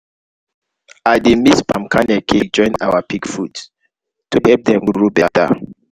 i dey mix palm kernel cake join our pig food to help dem grow better.